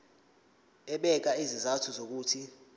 ebeka izizathu zokuthi